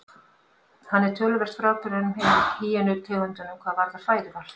Hann er töluvert frábrugðinn hinum hýenu tegundunum hvað varðar fæðuval.